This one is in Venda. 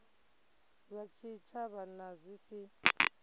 zwa tshitshavha na zwi si